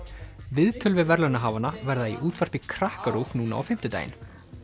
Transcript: viðtöl við verðlaunahafana verða í útvarpi Krakkarúv núna á fimmtudaginn